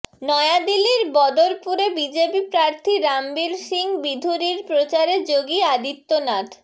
নয়াদিল্লির বদরপুরে বিজেপি প্রার্থী রামবীর সিং বিধুরির প্রচারে যোগী আদিত্যনাথ